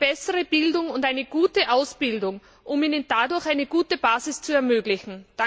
eine bessere Bildung und eine gute Ausbildung, um ihnen dadurch eine gute Basis zu ermöglichen.